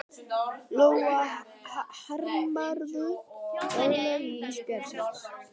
Lóa: Harmarðu örlög ísbjarnarins?